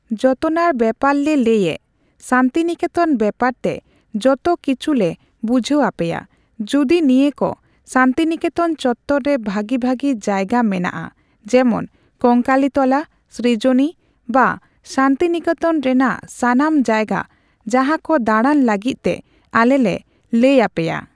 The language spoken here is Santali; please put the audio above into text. ᱡᱚᱛᱚᱱᱟᱨ ᱵᱮᱯᱟᱨ ᱞᱮ ᱞᱟᱹᱭ ᱮᱸᱜ ᱥᱟᱱᱛᱤᱱᱤᱠᱮᱛᱚᱱ ᱵᱮᱯᱟᱨ ᱛᱮ ᱡᱚᱛᱚ ᱠᱤᱪᱷᱩᱞᱮ ᱵᱩᱡᱷᱷᱟᱹᱣᱟᱯᱮᱭᱟ᱾ ᱡᱩᱫᱤ ᱱᱤᱭᱟᱹ ᱠᱚ ᱥᱟᱱᱛᱤᱱᱤᱠᱮᱛᱚᱱ ᱪᱚᱛᱛᱚᱨ ᱨᱮ ᱵᱷᱟᱜᱤᱼᱵᱷᱟᱜᱤ ᱡᱟᱭᱜᱟ ᱢᱮᱱᱟᱜᱼᱟ, ᱡᱮᱢᱚᱱ ᱠᱚᱝᱠᱟᱞᱤ ᱛᱚᱞᱟ, ᱥᱨᱤᱡᱚᱱᱤ ᱵᱟ ᱵᱟ ᱥᱟᱱᱛᱤᱱᱤᱠᱮᱛᱚᱱ ᱨᱮᱱᱟᱜ ᱥᱟᱱᱟᱢ ᱡᱟᱭᱜᱟ ᱡᱟᱦᱟᱸ ᱠᱚ ᱫᱟᱬᱟᱱ ᱞᱟᱜᱤᱫ ᱛᱮ ᱟᱞᱮ ᱞᱮ ᱞᱟᱹᱭᱟᱯᱮᱭᱟ᱾